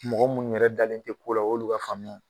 mɔgɔ mun yɛrɛ dalen te ko la o y'olu ka faamuya ye